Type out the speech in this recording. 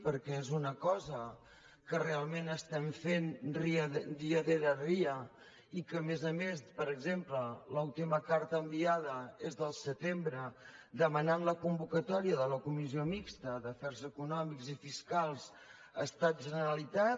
perquè és una cosa que realment estem fent dia rere dia i que a més a més per exemple l’última carta enviada és del setembre en què es demana la convocatòria de la comissió mixta d’afers econòmics i fiscals estat generalitat